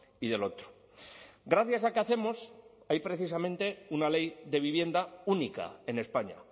y de lo otro gracias a que hacemos hay precisamente una ley de vivienda única en españa